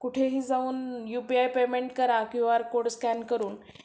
कुठेही जाऊन UPI payment करा क्यूआर कोड स्कॅन करून